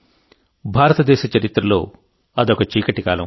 భారతదేశ చరిత్రలో అదొక చీకటి కాలం